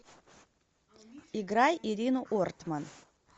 играй ирину ортман